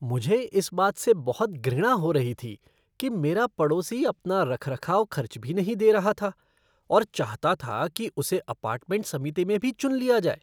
मुझे इस बात से बहुत घृणा हो रही थी कि मेरा पड़ोसी अपना रखरखाव खर्च भी नहीं दे रहा था और चाहता था कि उसे अपार्टमेंट समिति में भी चुन लिया जाए।